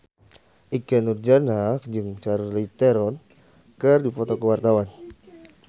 Ikke Nurjanah jeung Charlize Theron keur dipoto ku wartawan